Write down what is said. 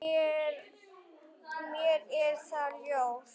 Mér er það ljóst.